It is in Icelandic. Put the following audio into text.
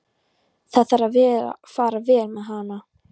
Það þarf að fara vel með hana.